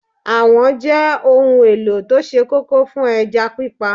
Àwọ̀n jẹ́ ohun èlò tó sé kókó fún ẹja pípa